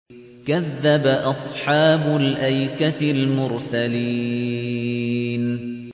كَذَّبَ أَصْحَابُ الْأَيْكَةِ الْمُرْسَلِينَ